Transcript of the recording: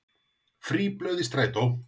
Frí blöð í strætó